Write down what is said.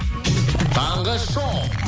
таңғы шоу